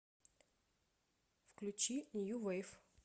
включи нью вейв